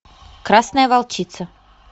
красная волчица